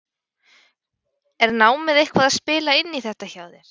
Er námið eitthvað að spila inn í þetta hjá þér?